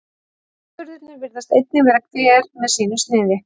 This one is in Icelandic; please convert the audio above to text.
atburðirnir virðist einnig vera hver með sínu sniði